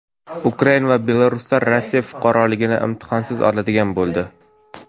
Ukrain va belaruslar Rossiya fuqaroligini imtihonsiz oladigan bo‘ldi.